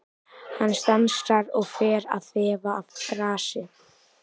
Hann stansar og fer að þefa af grasi.